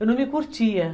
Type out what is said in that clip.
Eu não me curtia